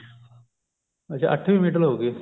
ਅੱਛਾ ਅੱਠਵੀ ਮਿਡਲ ਹੋਗੀ